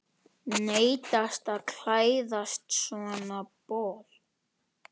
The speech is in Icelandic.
Neitar að klæðast svona bol?